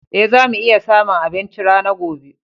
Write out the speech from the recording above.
Ee, za mu iya samun abinci rana gobe.